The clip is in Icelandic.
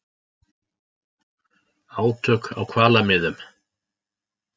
Átök á hvalamiðum